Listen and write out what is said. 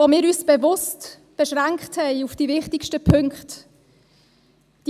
Dabei haben wir uns bewusst auf die wichtigsten Punkte beschränkt.